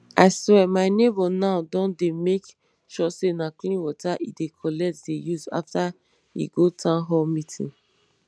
i swear my neighbour now don dey make sure say na clean water e dey collect dey use after e go townhall meeting